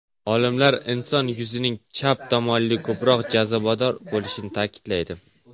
Olimlar inson yuzining chap tomoni ko‘proq jozibador bo‘lishini ta’kidlaydi.